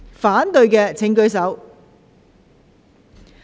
反對的請舉手。